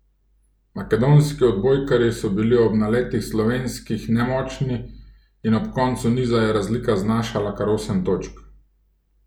Makedonski odbojkarji so bili ob naletih slovenskih nemočni in ob koncu niza je razlika znašala kar osem točk.